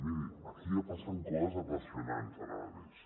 miri aquí ja passen coses apassionants ara mateix